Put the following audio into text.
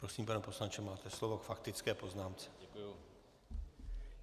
Prosím, pane poslanče, máte slovo k faktické poznámce.